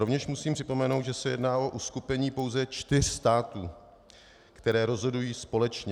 Rovněž musím připomenout, že se jedná o uskupení pouze čtyř států, které rozhodují společně.